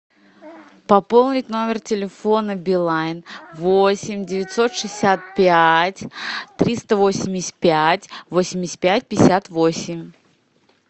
пополнить номер телефона билайн восемь девятьсот шестьдесят пять триста восемьдесят пять восемьдесят пять пятьдесят восемь